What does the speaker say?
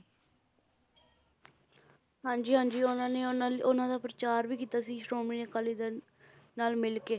ਹਾਂਜੀ ਹਾਂਜੀ ਉਹਨਾਂ ਨੇ ਉਹਨਾਂ ਲਈ, ਉਹਨਾਂ ਦਾ ਪ੍ਰਚਾਰ ਵੀ ਕੀਤਾ ਸੀ ਸ਼੍ਰੋਮਣੀ ਅਕਾਲੀ ਦਲ ਨਾਲ ਮਿਲਕੇ